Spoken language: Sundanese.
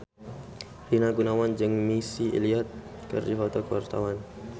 Rina Gunawan jeung Missy Elliott keur dipoto ku wartawan